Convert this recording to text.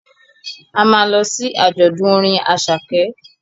A ma lọ sí àjọ̀dún orin Àṣàkẹ́